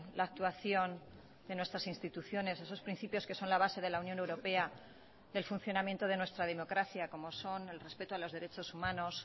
la actuación de nuestras instituciones esos principios que son la base de la unión europea del funcionamiento de nuestra democracia como son el respeto a los derechos humanos